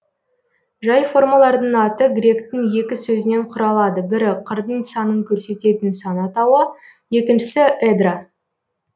жай формалардың аты гректің екі сөзінен құралады бірі қырдың санын көрсететін сан атауы екіншісі эдра